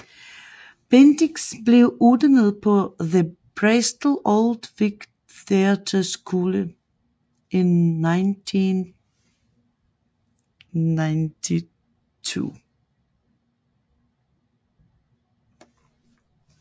Bendix blev uddannet på The Bristol Old Vic Theatre School i 1992